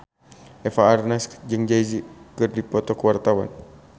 Eva Arnaz jeung Jay Z keur dipoto ku wartawan